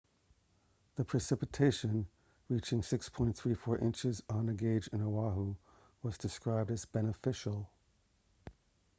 the precipitation reaching 6.34 inches at a gauge on oahu was described as beneficial